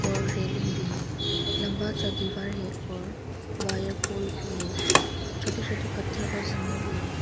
और रेलिंग भी लंबा सा दीवार है और वायर पोल भी है छोटे छोटे पत्थर और जमीन भी है।